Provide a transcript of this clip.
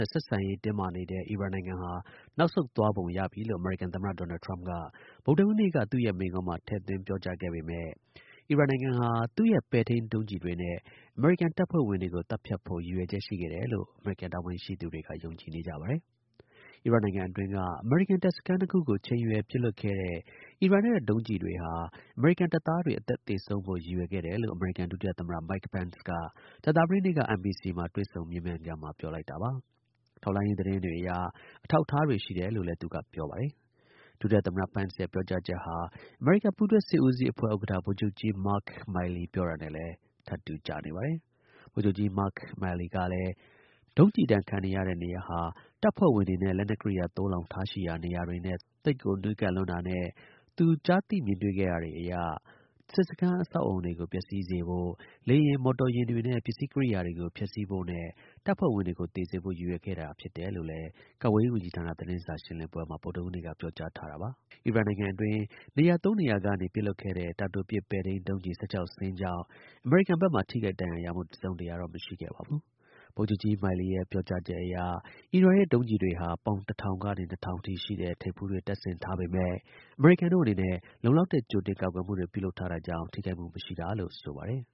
ဲ့ ဆက်ဆံရေး တင်းမာနေတဲ့ အီရန်တို့ နောက်ဆုတ်သွားပုံရပြီလို့ အမေရိကန် သမ္မတ ဒေါ်နယ်ထရမ့်က ဗုဒ္ဓဟူးနေ့ က သူ့ရဲ့မိန့်ခွန်းမှာ ထည့်သွင်း ပြောကြားခဲ့ပေမဲ့ အီရန်နိုင်ငံဟာ တကယ်တော့ သူ့ရဲ့ပဲ့ထိန်းဒုံးကျည်တွေနဲ့ အမေရိကန်တပ်ဖွဲ့ဝင်တွေကိုသတ်ဖြတ် ဖို့ ရည်ရွယ်ချက်ရှိခဲ့တယ်လို့ အမေရိကန်တာဝန်ရှိသူတွေကယုံကြည်နေကြပါတယ်။ အီရတ်နိုင်ငံအတွင်းက အမေရိကန် တပ်စခန်း ၂ခုကိုချိန်ရွယ်ပစ်လွှတ်ခဲ့တဲ့အီရန်တို့ရဲ့ဒုံးကျည်တွေဟာအမေရိကန်တပ်သားတွေအသက်သေဆုံးဖို့ရည်ရွယ်ခဲ့တာလို့အမေရိကန်ဒုတိယသမ္မတ Mike Pence က ကြာသပတေးနေ့က NBC နဲ့တွေ့ဆုံမေးမြန်းခန်းမှာ ပြောလိုက်တာပါ။ ထောက်လှမ်းရေး သတင်းတွေ အရ အထောက်အထားတွေ ရှိတယ်လို့လည်း သူက ပြောပါတယ်။ ဒုတိယ သမ္မတ Pence ရဲ့ ပြောကြားချက်ဟာ အမေရိကန် ပူးတွဲ စစ်ဦးစီးအဖွဲ့ ဥက္ကဌ ဗိုလ်ချုပ်ကြီး Mark Milley နဲ့လည်း ထပ်တူကျနေပါတယ်။ ဗိုလ်ချုပ်ကြီး Mark Milley ကလည်း ဒုံးကျည် ဒဏ်ခံရတဲ့နေရာဟာ တပ်ဖွဲ့တွေနဲ့ လက်နက်ကိရိယာ သိုလှောင်ထားရှိရာ နေရာတွေနဲ့ သိပ်ကို နီးကပ်လွန်း တာရယ်၊ ကျွန်တော် ကြားသိ မြင်တွေ့ခဲ့ရတာတွေရယ်ကို မူတည်ပြီး ပြောရရင် စစ်စခန်း အဆောက်အအုံတွေကို ပျက်စီးစေဖို့၊ လေယာဉ်၊ မော်တော်ယာဉ်တွေနဲ့ ပစ္စည်းကိရိယာတွေကို ဖျက်ဆီးဖို့နဲ့ တပ်ဖွဲ့ဝင်တွေကို သေစေဖို့ ရည်ရွယ်ထားခဲ့ တာဖြစ်ပါတယ် လို့ ကာကွယ်ရေး ဝန်ကြီးဌာန သတင်းစာ ရှင်းလင်းပွဲမှာ ပြောကြားထားတာပါ။ အီရန်နိုင်ငံအတွင်း နေရာ ၃ နေရာကနေ ပစ်လွှတ်ခဲ့တဲ့ တာတိုပစ် ပဲ့ထိန်း ဒုံးကျည် ၁၆ စင်းကြောင့် အမေရိကန် ဘက်မှာ ထိခိုက် ဒဏ်ရာရမှု တစ်စုံတစ်ရာ မရှိခဲ့ပါဘူး။ ဗိုလ်ချုပ်ကြီး Milley ရဲ့ အဆိုအရ အီရန်ရဲ့ ဒုံးကျည်တွေဟာ ပေါင် ၁၀၀၀ ကနေ ၂၀၀၀ အထိ ရှိတဲ့ ထိပ်ဖူးတွေ တပ်ဆင်ထားပေမဲ့ အမေရိကန်တို့အနေနဲ့ လုံလောက်တဲ့ ကြိုတင် ကာကွယ်မှုတွေ ပြုလုပ်ထားတာကြောင့် ထိခိုက်မှု မရှိတာလို့ ဆိုပါတယ်